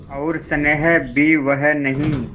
और स्नेह भी वह नहीं